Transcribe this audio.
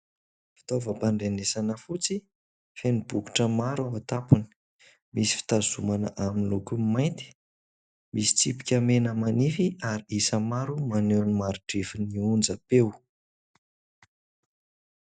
Fitaovam-pandrenesana fotsy feno bokotra maro amin'ny tampony. Misy fitazomana amin'ny lokony mainty, misy tsipika mena manify ary isa maro maneho ny mari-drefin'ny onjam-peo.